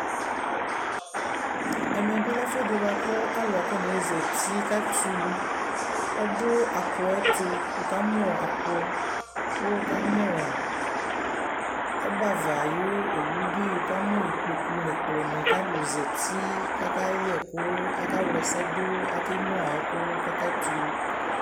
Ɛmɛ bι lɛ ɛfʋ ɛdι bʋa kʋ alʋ akɔ naɣa ezati kʋ atɛ ulu, ɔdʋ apʋ yɛ ɛtʋ, wʋ ka mʋ apʋ kʋ wʋ ka mʋ ɔbɛ ava ayʋ owu bι, wʋ ka mʋ ikpoku nʋ ɛkplɔ nι, kʋ alʋ zati kʋ aka yɛ ɛkʋ aka wla ɛsɛ dʋ, ake nyua ɛkʋ kʋ aka tɛ ulu